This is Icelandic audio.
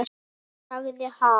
Ég sagði: Ha?